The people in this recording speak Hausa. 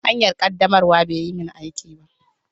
Hanyar ƙaddamarwa bai yi min aiki ba.